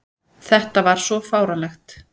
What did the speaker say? Þetta var svo fáránlegt!